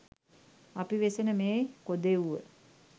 අපි වෙසෙන මේ කොදෙව්ව